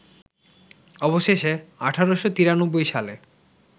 অবশেষে ১৮৯৩ সালে